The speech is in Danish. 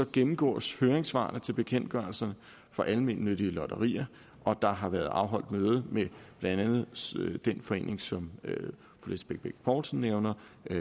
gennemgås høringssvarene til bekendtgørelserne for almennyttige lotterier og der har været afholdt møde med blandt andet den forening som fru lisbeth bech poulsen nævner